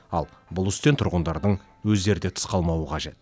ал бұл істен тұрғындардың өздері де тыс қалмауы қажет